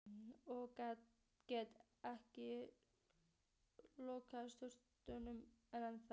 Og ekki er lokið sögunni ennþá.